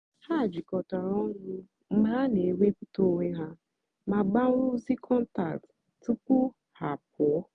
ha jịkọtàra ọnụ́ mgbe ha na-èwèpụ̀tà onwé ha mà gbánwèè ozí kọ́ntáktị́ tupu ha àpụ́ọ.